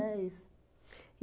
isso.